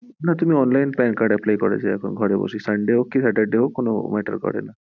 তুমি online pan card apply করো, sunday হোক কি Saturday matter করেন।